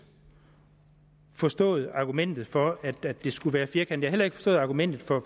forstået argumentet for at det skulle være firkantet heller ikke forstået argumentet